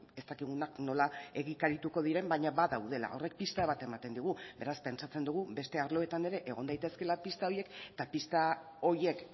ez dakigunak nola egikarituko diren baina badaudela horrek pista bat ematen digu beraz pentsatzen dugu beste arloetan ere egon daitezkeela pista horiek eta pista horiek